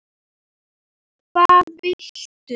hvað viltu?